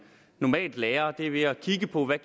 normalt lærer det er ved at kigge på hvad